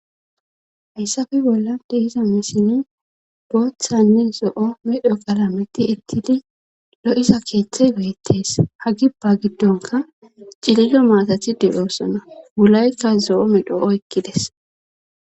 hayssafe bolla dehiza misini booththanne zo7o medho galameti ettidi lo7isa keeththay geyettes hagibba giddonka cilido maatathi dedhoossona wulaykka zo7o midhoo7o ekkides